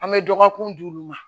An bɛ dɔgɔkun di olu ma